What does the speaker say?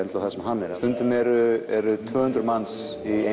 stundum eru eru tvö hundruð manns í